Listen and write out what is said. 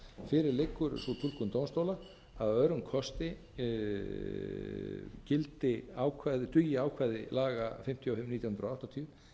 fyrir liggur sú túlkun dómstóla að örum kosti dugi ákvæði laga fimmtíu og fimm nítján hundruð áttatíu